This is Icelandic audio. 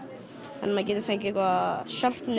að maður getur fengið eitthvað